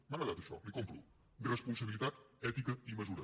m’ha agradat això l’hi compro responsabilitat ètica i mesura